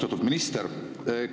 Austatud minister!